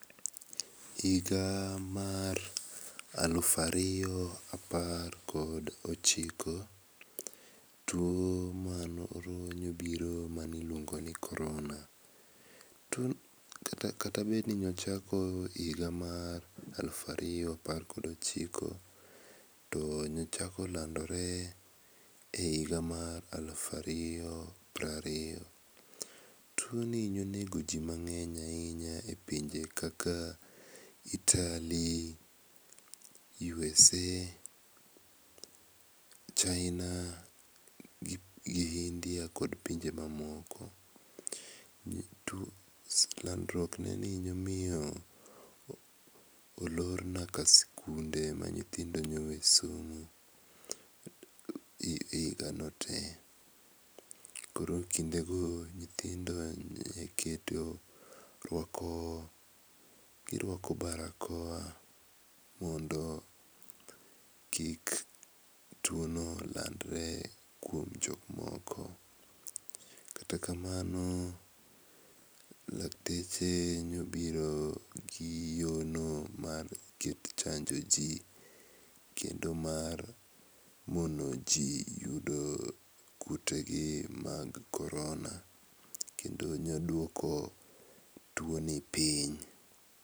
Higa mar alufu ariyo apar kod ochiko tuo mane obiro mane iluongo ni korona, tuo kata bed nine ochako e higa mar alufu ariyo apar kod ochiko, to ne ochako landore e higa alufu ariyo piero ariyo. Tuoni ne onego ji mang'eny ahinya e pinje kaka Otaly, USA, China gi India kod pinje mamoko. Landruok neni nyalo miyo olor nyaka sikunde ma nyithindo ne oweyo somo e higano te. Koro kindego nyithindo ne iketo ruako barakoa mondo kik tuono landre kuom jok moko kata kamano lakteche nobiro gi yono mar chanjo ji kendo mar mondo ji yudo kutegi mag korona kendo noduoko tuoni piny